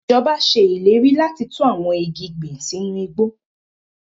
Ijọba ṣe ileri lati tun awọn igi gbin sinu igbo